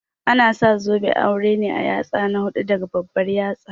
Ana sa zoben aure a yatsa na hudu daga babbar yatsa